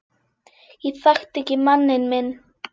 Ég þekkti ekki manninn minn